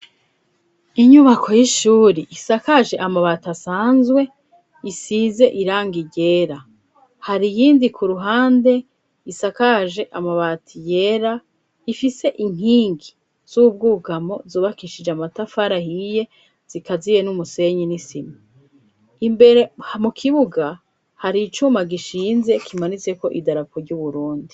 Inyubako y'ishuri isakaje amabati asanzwe, isize irangi ryera. Hari iyindi ku ruhande isakaje amabati yera, ifise inkingi z'ubwugamo zubakishije amatafari ahiye zikaziye n'umusenyi n'isima. Imbere hamu kibuga hari icuma gishinze kimanitseko idarapo ry'Uburundi.